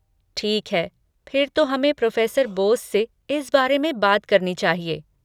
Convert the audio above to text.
ठीक है, फिर तो हमें प्रोफ़ेसर बोस से इस बारे में बात करनी चाहिए।